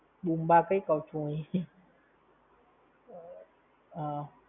Boomba કંઇ કઉં છું હું એ